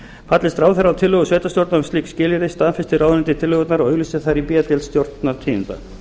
fallist ráðherra á tillögur sveitarstjórna um slík skilyrði staðfestir ráðuneytið tillögurnar og auglýsir þær í b deild stjórnartíðinda